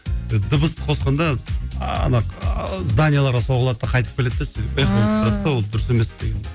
дыбысты қосқанда ана ааа зданияларға соғылады да қайтып келеді де сөйтіп эхо болып тұрады да ааа ол дұрыс емес деген